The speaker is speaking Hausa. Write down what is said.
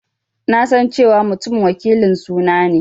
Na san cewa Mutum wakilin suna ne.